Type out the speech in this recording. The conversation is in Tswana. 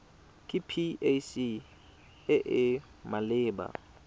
ke pac e e maleba